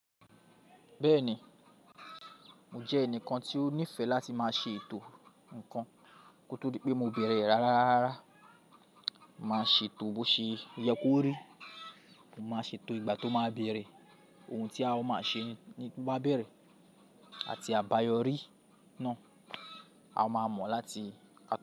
Bẹ́ẹ̀ni, mo jẹ́ ẹnìkan tí ó nífẹ̀ẹ́ láti máa ṣe ètò ǹkan kó tó pé mo bẹ̀rẹ̀ rárá. Màá ṣe ètò bó ṣe yẹ kó rí, mo máa ṣe ètò ìgbà tó máa bẹ̀rẹ̀, oun tí a máa ṣe nígbà bẹ̀rẹ̀ àti àbáyọrí náà, a máa mọ̀ láti.